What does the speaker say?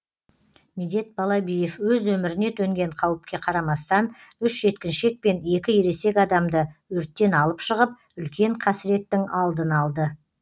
медет балабиев өз өміріне төнген қауіпке қарамастан үш жеткіншек пен екі ересек адамды өрттен алып шығып үлкен қасіреттің алдын алды